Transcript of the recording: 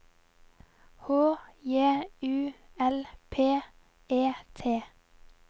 H J U L P E T